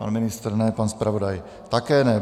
Pan ministr ne, pan zpravodaj také ne.